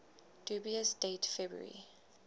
dubious date february